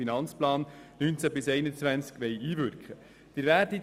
Danach fahren wir weiter bis zu 4.a Abstimmungen und Wahlen.